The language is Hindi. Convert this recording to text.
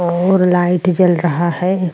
और लाइट जल रहा है।